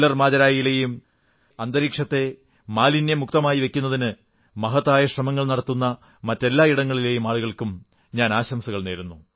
Keller മാജരായിലെയും അന്തരീക്ഷത്തെ മാലിന്യമുക്തമായി വയ്ക്കുന്നതിന് മഹത്തായ ശ്രമങ്ങൾ നടത്തുന്ന മറ്റെല്ലാ ഇടങ്ങളിലെയും ആളുകൾക്ക് ആശംസകൾ